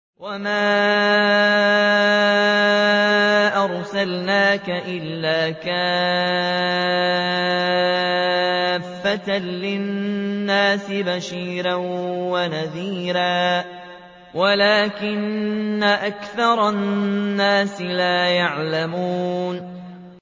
وَمَا أَرْسَلْنَاكَ إِلَّا كَافَّةً لِّلنَّاسِ بَشِيرًا وَنَذِيرًا وَلَٰكِنَّ أَكْثَرَ النَّاسِ لَا يَعْلَمُونَ